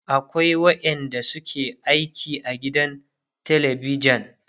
akwai waƴanda suke aiki gidan telebijan